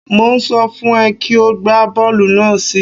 Mò ń sọ fún ẹ kí o gbá bọ́ọ̀lù náà sí i.